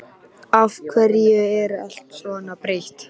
Af hverju er allt svona breytt?